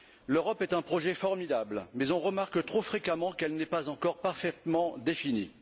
L'Europe est un projet formidable mais on remarque trop fréquemment qu'elle n'est pas encore parfaitement définie.